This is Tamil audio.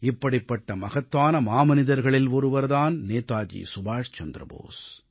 இப்படிப்பட்ட மகத்தான மாமனிதர்களில் ஒருவர் தான் நேதாஜி சுபாஷ் சந்திர போஸ்